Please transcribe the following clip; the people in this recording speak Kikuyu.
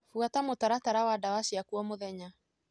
Buata mũtaratara wa dawa ciaku o mũthenya.